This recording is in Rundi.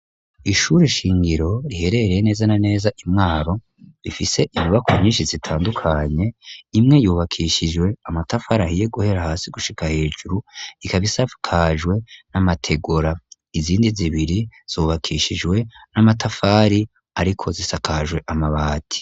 Ishure shingiro riherereye neza na neza I Mwaro rifise imibako nyinshi zitandukanye imwe yubakishijwe amatafari ahiye guhera hasi gushika hejuru ikaba isakajwe n'amategora izindi zibiri zubakishijwe n'amatafari ariko zisakajwe amabati.